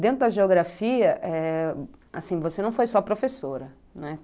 Dentro da geografia eh... você não foi só professora, né?